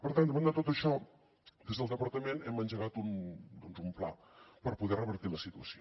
per tant davant de tot això des del departament hem engegat doncs un pla per poder revertir la situació